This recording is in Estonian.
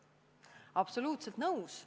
Absoluutselt nõus.